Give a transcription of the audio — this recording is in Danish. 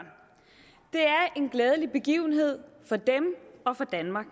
en glædelig begivenhed for dem og for danmark